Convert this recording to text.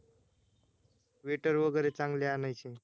wetter वगैरे चांगले आणायचे